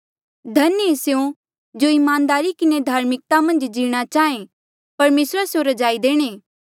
धन्य ऐें स्यों जो ईमानदारी किन्हें धार्मिकता मन्झ जीणा चाहे परमेसरा स्यों रजाई देणे